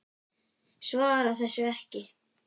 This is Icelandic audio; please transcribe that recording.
Svarar þessu ekki.